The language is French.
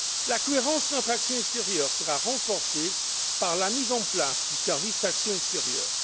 La cohérence de notre action extérieure sera renforcée par la mise en place du service pour l'action extérieure.